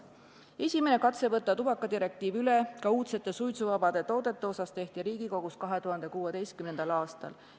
Esimene katse võtta tubakadirektiiv üle ka uudsete suitsuvabade toodete osas tehti Riigikogus 2016. aastal.